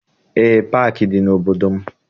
Eé, paakị dị n'obodo m.